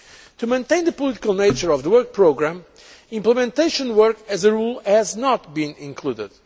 To maintain the political nature of the work programme, implementation work as a rule has not been included.